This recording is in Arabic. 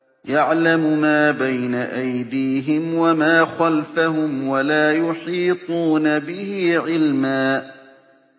يَعْلَمُ مَا بَيْنَ أَيْدِيهِمْ وَمَا خَلْفَهُمْ وَلَا يُحِيطُونَ بِهِ عِلْمًا